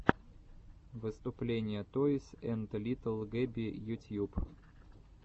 выступление тойс энд литтл гэби ютьюб